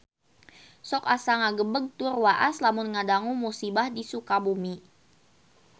Sok asa ngagebeg tur waas lamun ngadangu musibah di Sukabumi